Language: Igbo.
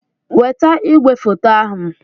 Weta igwefoto ahu!